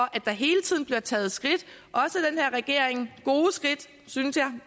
det er taget skridt gode skridt synes jeg